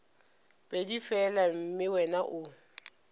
pedi fela mme wena o